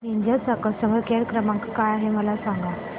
Ninja चा customer care क्रमांक काय आहे मला सांगा